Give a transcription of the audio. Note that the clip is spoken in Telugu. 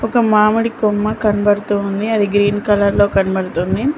ఒక మామిడి కొమ్మ కనబడుతూ ఉంది అది గ్రీన్ కలర్ లో కనబడుతుంది.